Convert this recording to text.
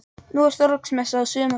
Nú er Þorláksmessa á sumar.